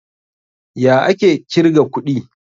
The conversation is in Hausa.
Ya ake kirga kuɗi?